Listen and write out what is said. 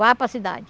Vai para cidade.